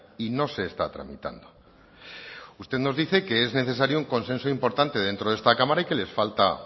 y no se está tramitando usted nos dice que es necesario un consenso importante dentro de esta cámara y que les falta